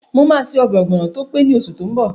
Mo máa ṣe ọbẹ̀ ọ̀gbọ̀nọ̀ tó pé ní oṣù tó n bọ̀